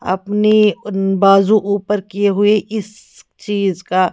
आपनी उन बाजु ऊपर कीए हुई इस चीज़ का--